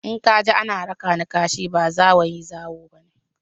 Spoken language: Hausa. In ka ji ana raka ni kashi, ba zawayi/zawo ba ne.